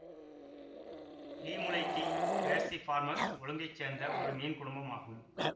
ஈமுலைடீ பேர்சிஃபார்மசு ஒழுங்கை சேர்ந்த ஒரு மீன் குடும்பம் ஆகும்